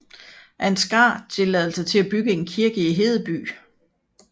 Ansgar tilladelse til at bygge en kirke i Hedeby